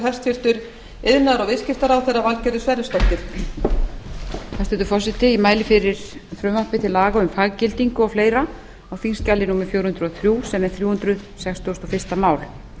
hæstvirtur forseti ég mæli fyrir frumvarpi til laga um faggildingu og fleiri á þingskjali númer fjögur hundruð og þrjú sem er þrjú hundruð sextugustu og fyrsta mál